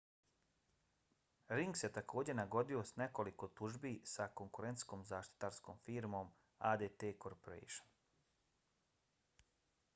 ring se također nagodio za nekoliko tužbi sa konkurentskom zaštitarskom firmom adt corporation